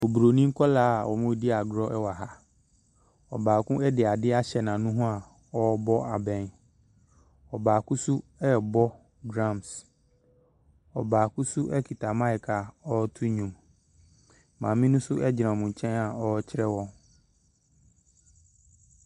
Obronin nkwadaa a wɔredi agorɔ wɔ ha. Ɔbaako de adeɛ ahyɛ n'ano ho a ɔrebɔ abɛn. Ɔbaako nso rebɔ drums. Ɔbaako nso kita mic a ɔreto nnwom. Maame no nso gyina wɔn nkyɛn a ɔrekyerɛ wɔn.